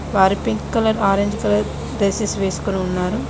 వారు pink colour orange colour dresses వెస్కొని ఉన్నారు.